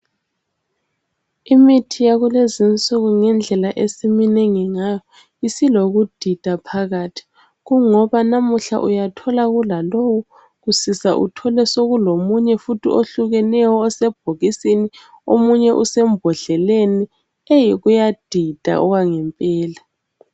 Imithi yakulezinsuku ngendlela esimnengi ngayo isilokudida phakathi kungoba namuhla uyathola kulalowu kusisa uthole sekulomunye futhi ohlukeneyo osebhokisini omunye usembodleleni. Kuyadida okwangempela.